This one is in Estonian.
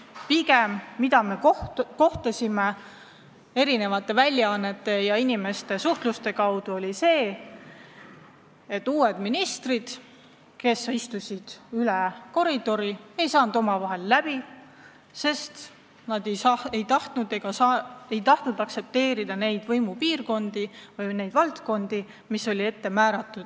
Pigem teame tänu meediale ja inimeste omavahelisele suhtlemisele, et teine teisel pool koridori istuvad ministrid pole omavahel läbi saanud, sest nad pole tahtnud aktsepteerida võimupiirkondi või valdkondi, mis neile määratud.